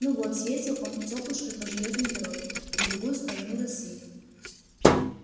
ну вот съездил он тёплушкой по железной дороге на другую сторону россии